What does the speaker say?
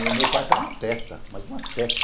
E o meu quarto era uma festa, mas uma festa.